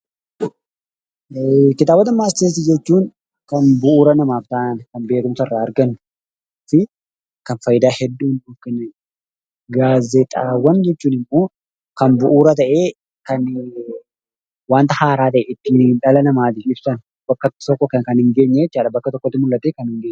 Kitaabota matseetii jechuun kan bu'uura namaaf ta'anii fi kan fayidaa hedduu nuuf kennanidha. Gaazexaawwan jechuun immoo kan bu'uuraa ta'ee wanta haaraa ta'ee dhala namaaf ibsan kan bakka tokkotti mul'atudha.